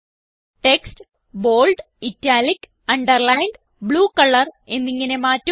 text bold italic underlined blue colour എന്നിങ്ങനെ മാറ്റുക